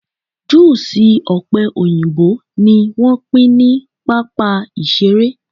juusi òpe òyìnbó ni wán pín ni pápá iṣere